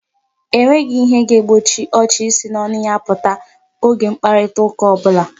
E nweghi ihe ga-egbochi ọchị isi n'ọnụ ya apụta oge mkparitaụka ọ bụla.